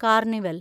carnival